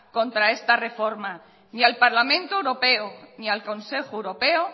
contra esta reforma ni al parlamento europeo ni al consejo europeo